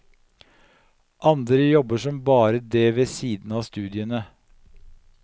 Andre jobber som bare det ved siden av studiene.